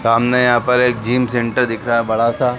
सामने यहाँ पर एक जिम सेंटर दिख रहा है बड़ा सा--